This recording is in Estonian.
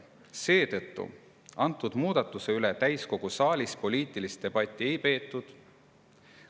Seetõttu muudatuse üle täiskogu saalis poliitilist debatti ei peetud.